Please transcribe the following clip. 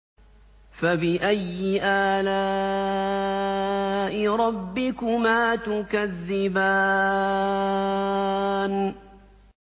فَبِأَيِّ آلَاءِ رَبِّكُمَا تُكَذِّبَانِ